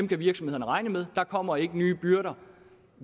kan virksomhederne regne med der kommer ikke nye byrder